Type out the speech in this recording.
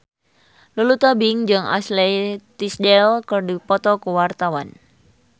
Lulu Tobing jeung Ashley Tisdale keur dipoto ku wartawan